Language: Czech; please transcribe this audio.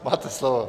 Máte slovo.